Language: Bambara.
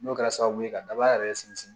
N'o kɛra sababu ye ka daba yɛrɛ sinsin